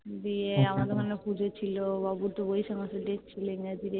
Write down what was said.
দিয়ে আমাদের ওখানে পুজো ছিল বাবুর তো বৈশাখ মাসে date ছিল